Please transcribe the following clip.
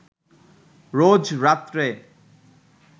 রোজ রাত্রে